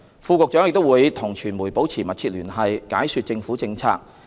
副局長亦會與傳媒保持密切聯繫，解說政府政策。